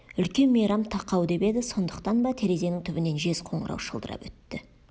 үлкен мейрам тақау деп еді сондықтан ба терезенің түбінен жез қоңырау шылдырап өтті